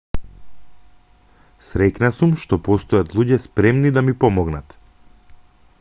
среќна сум што постојат луѓе спремни да ми помогнат